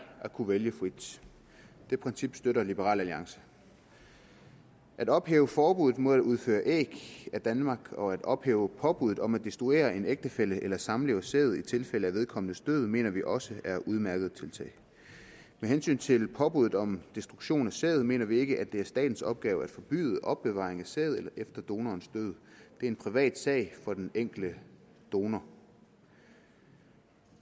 at kunne vælge frit det princip støtter liberal alliance at ophæve forbuddet mod at udføre æg af danmark og at ophæve påbuddet om at destruere en ægtefælles eller samlevers sæd i tilfælde af vedkommendes død mener vi også er udmærkede tiltag med hensyn til påbuddet om destruktion af sæd mener vi ikke at det er statens opgave at forbyde opbevaring af sæd efter donorens død det er en privatsag for den enkelte donor